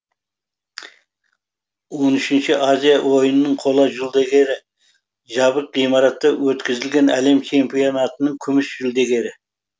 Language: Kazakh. он үшінші азия ойынының қола жүлдегері жабық ғимаратта өткізілген әлем чемпионатының күміс жүлдегері